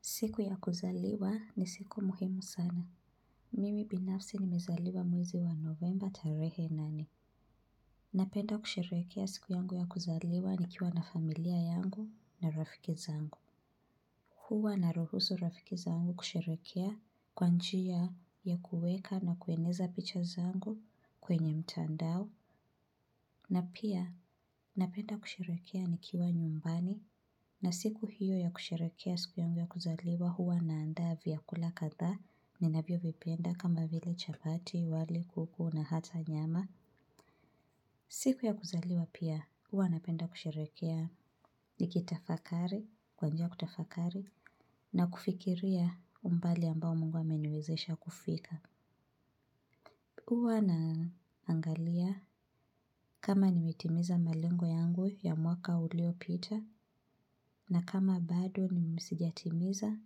Siku ya kuzaliwa ni siku muhimu sana. Mimi binafsi nimezaliwa mwezi wa novemba tarehe nane. Napenda kusherehekea siku yangu ya kuzaliwa nikiwa na familia yangu na rafiki zangu. Huwa naruhusu rafiki zangu kusherehekea kwa njia ya kuweka na kueneza picha zangu kwenye mtandao. Na pia napenda kusherehekea nikiwa nyumbani na siku hio ya kusherehekea siku yangu ya kuzaliwa huwa naandaa vyakula kadhaa ninavyovipenda kama vile chapati, wali, kuku na hata nyama. Siku ya kuzaliwa pia napenda kusherehekea kwa njia ya kutafakari na kufikiria umbali ambao mungu ameniwezesha kufika. Huwa naangalia kama nimetimiza malengo yangu ya mwaka ulio pita na kama bado sijatimiza,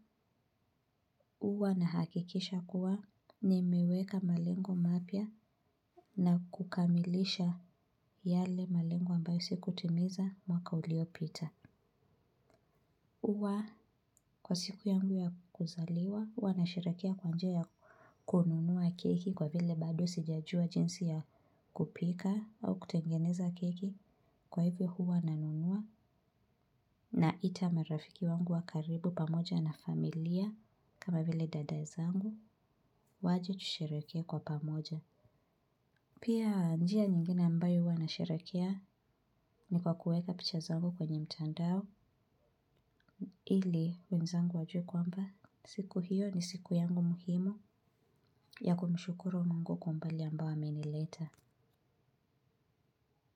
huwa nahakikisha kuwa nimiweka malengo mapya na kukamilisha yale malengo ambayo sikutimiza mwaka uliopita. Huwa kwa siku yangu ya kuzaliwa huwa nasherehekea kwa njia ya kununua keki, kwa vile bado sijajua jinsi ya kupika au kutengeneza keki. Kwa hivyo huwa nanunua naita marafiki wangu wa karibu pamoja na familia kama vile dada zangu waje tusherehekee kwa pamoja. Pia njia nyingine ambayo huwa nasherehekea ni kwa kuweka picha zangu kwenye mtandao, ili wenzangu wajue kwamba siku hiyo ni siku yangu muhimu ya kumshukuru mungu kwa umbali ambayo amenileta.